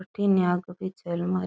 भटीने पीछे अलमा --